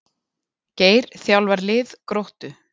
Geir þjálfar lið Gróttu